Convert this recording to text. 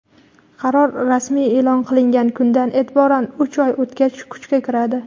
Qaror rasmiy eʼlon qilingan kundan eʼtiboran uch oy o‘tgach kuchga kiradi.